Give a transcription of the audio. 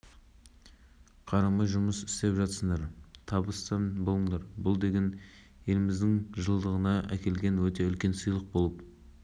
мұнайлы жерден алу бар шығару бар оны экспортқа шығаратын құбырлар бәрі қолдарында мынау қазір желдің өтіне